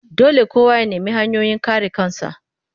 Dole kowa ya nemi hanyoyin kare kansa